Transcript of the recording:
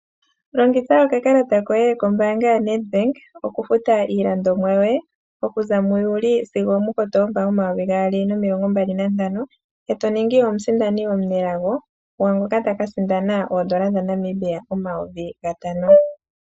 Longitha okakalata koye kombaanga yoNedbank okufuta iilandomwa yoye okuza muJuly sigo muKotoba gomayovi gaali nomilongo mbali nantano, etoningi omusindani omunelago ngoka takasindana oodola dhaNamibia omayovi gatano.